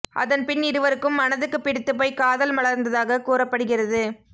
அதன் பின் இருவருக்கும் மனதுக்குப் பிடித்துப் போய் காதல் மலர்ந்ததாக கூறப்படுகிறது